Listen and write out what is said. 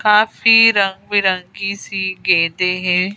काफी रंग बिरंगी सी गेंदे हैं।